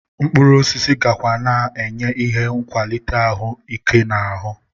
Mkpụrụosisi gakwa na-enye ihe n'akwalite ahụ ike n'ahụ